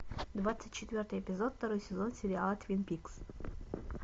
двадцать четвертый эпизод второй сезон сериала твин пикс